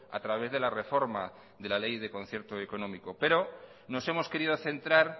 a través de la reforma de la ley de concierto económico pero nos hemos querido centrar